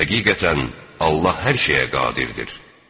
Həqiqətən, Allah hər şeyə qadirdir.